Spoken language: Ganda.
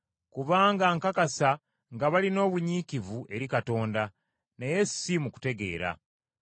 Kubanga nkakasa nga balina obunyiikivu eri Katonda, naye si mu kutegeera.